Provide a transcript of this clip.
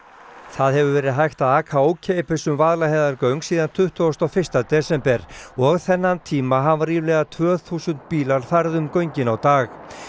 það hefur verið hægt að aka ókeypis um Vaðlaheiðargöng síðan tuttugasta og fyrsta desember og þennan tíma hafa ríflega tvö þúsund bílar farið um göngin á dag